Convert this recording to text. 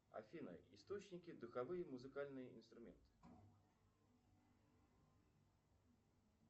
афина источники духовые музыкальные инструменты